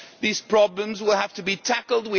These problems will have to be tackled.